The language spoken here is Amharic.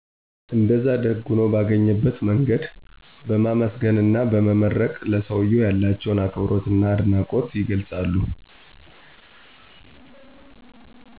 እንደዛ ደግ ሁኖ ባገኝበት መንገድ በማመሰገን አና በመመረቅ ለሰውየው ያላቸው አክብሮትና አድናቆት የገልፃሉ።